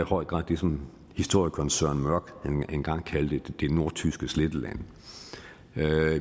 høj grad det som historikeren søren mørch engang kaldte det nordtyske sletteland